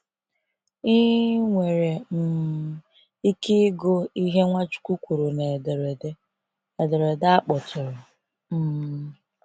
Ị nwere um ike ịgụ ihe Nwachukwu kwuru na ederede ederede a kpọtụrụ. um